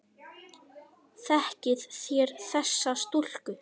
Þekkið þér þessa stúlku?